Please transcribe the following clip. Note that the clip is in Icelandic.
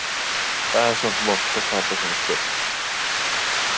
Það er samt vont að tapa svona stórt.